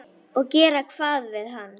Og gera hvað við hann?